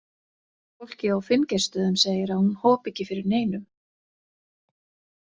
Fólkið á Finngeirsstöðum segir að hún hopi ekki fyrir neinum.